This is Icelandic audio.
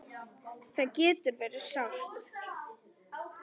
Það getur verið sárt.